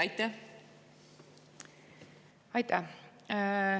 Aitäh!